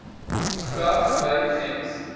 graag by gems